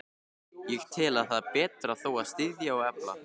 Ég tel, að það beri þó að styðja og efla,